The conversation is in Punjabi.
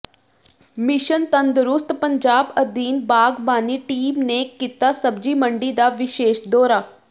ਮਿਸ਼ਨ ਤੰਦਰੁਸਤ ਪੰਜਾਬ ਅਧੀਨ ਬਾਗਬਾਨੀ ਟੀਮ ਨੇ ਕੀਤਾ ਸਬਜੀ ਮੰਡੀ ਦਾ ਵਿਸ਼ੇਸ ਦੋਰਾ